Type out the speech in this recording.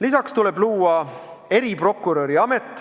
Lisaks tuleb luua eriprokuröri amet.